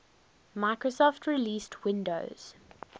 microsoft released windows